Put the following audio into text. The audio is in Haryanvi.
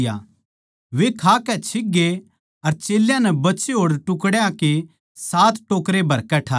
वे खाकै छिकगे अर चेल्यां नै बचे होड़ टुकड्या के सात टोकरे भरकै ठाए